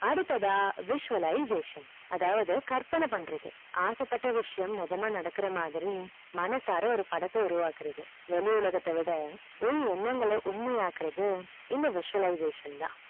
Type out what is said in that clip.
அடுத்ததா visualization அதாவது கற்பன பண்றது ஆசப்பட்ட விஷயம் நிஜமா நடக்குற மாதிரி மனசார ஒரு படத்த உருவாக்குறது வெளி உலகத்தவிட பொய் எண்ணங்கள உண்மை ஆக்குறது இந்த visualization தான்